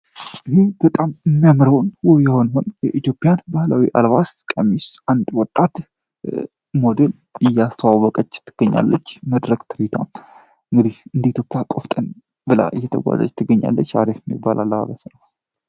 ህህ በጣም መምረውን የሆንሆን የኢትዮፒያን ባህላዊ አልባስት ቀሚስ አንድ ወጣት ሞዴል እያስተዋወቀች ትገኛለች መድረግ ትሪቷን እንግዲህ እንዲቶፓያ ቆፍጠን በላይ የተጓደጅ ተገኛለች አሬፍ የሚባላላረት ነው